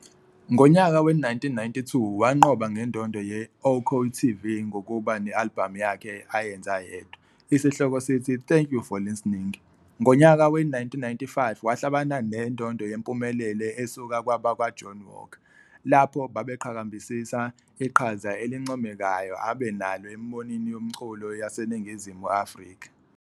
Ngonyaka we-1992 wanqoba ngendondo ye-OKTV ngokuba ne alibhamu yakhe ayenza yedwa, esihloko sithi "Thank you for Listening". Ngonyaka we-1995 wahlabana nendondo yempumelelo isukua kwabakwa-Johnny Walker, lapho babeqhakambisa iqhaza elincomekayo abe enalo embonini yomculu yaseNingizimu Afrika.